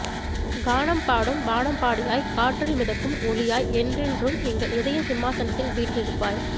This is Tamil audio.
கானம் பாடும் வானம்பாடியாய் காற்றில் மிதக்கும் ஒலியாய் என்றென்றும் எங்கள் இதய சிம்மாசனத்தில் வீற்றிருப்பாய்